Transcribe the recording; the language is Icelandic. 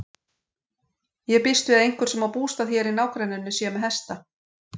Ég býst við að einhver sem á bústað hér í nágrenninu sé með hesta.